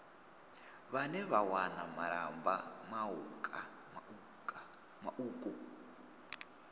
vhane vha wana malamba mauku